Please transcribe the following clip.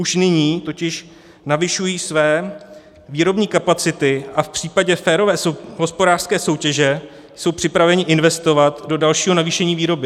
Už nyní totiž navyšují své výrobní kapacity a v případě férové hospodářské soutěže jsou připraveni investovat do dalšího navýšení výroby.